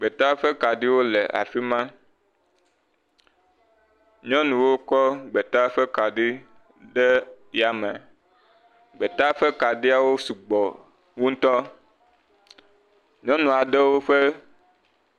Gbeta ƒe kaɖiwo le afi ma. Nyɔnuwo kɔ gbeta ƒe kaɖi ɖe yame. Gbeta ƒe kaɖiawo sɔ gbɔ ŋutɔ. Nyɔnu aɖewo ƒe..